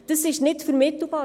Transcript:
Das ist nicht vermittelbar;